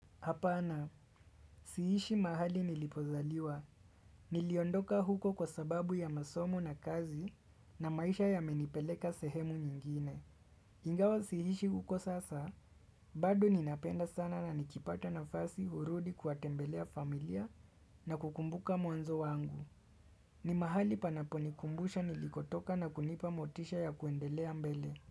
Hapana, siishi mahali nilipozaliwa. Niliondoka huko kwa sababu ya masomo na kazi na maisha yamenipeleka sehemu nyingine. Ingawa siishi huko sasa, bado ninapenda sana na nikipata nafasi hurudi kuwatembelea familia na kukumbuka mwanzo wangu. Ni mahali panaponikumbusha nilikotoka na kunipa motisha ya kuendelea mbele.